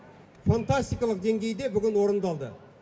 фантастикалық деңгейде бүгін орындалды